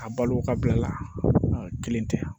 A balo ka bila a la kelen tɛ